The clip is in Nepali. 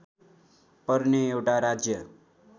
पर्ने एउटा राज्य